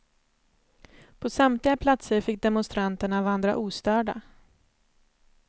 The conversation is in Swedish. På samtliga platser fick demonstanterna vandra ostörda.